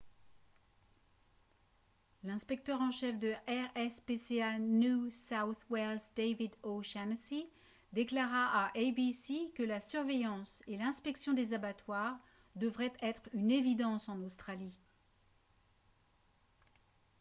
l'inspecteur de chef de rspca new south wales david o'shannessy déclara à abc que la surveillance et l'inspection des abattoirs devrait être une évidence en australie